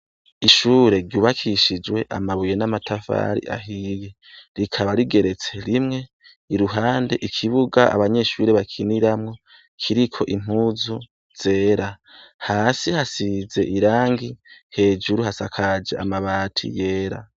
Ishure ryubakishijwe amabuye n'amatafari ahiye, rikaba rigeretse rimwe, iruhande ikibuga abanyeshure bakiniramwo kiriko impuzu zera. Hasi hasize irangi, hejuru hasakaje amabati yera.